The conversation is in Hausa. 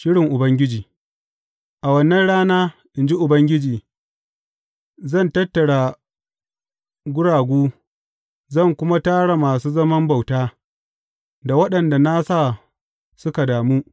Shirin Ubangiji A wannan rana, in ji Ubangiji, zan tattara guragu; zan kuma tara masu zaman bauta, da waɗanda na sa suka damu.